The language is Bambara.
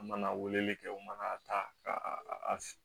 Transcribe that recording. An mana weleli kɛ u ma a ta ka a